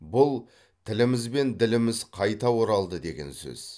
бұл тіліміз бен діліміз қайта оралды деген сөз